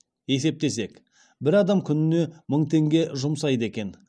есептесек бір адам күніне мың теңге жұмсайды екен